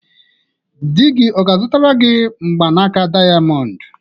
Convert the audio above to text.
Di gị ọ ga-azụtara gị mgbanaka dayamondu?